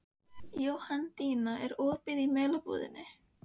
Jóhanndína, er opið í Melabúðinni?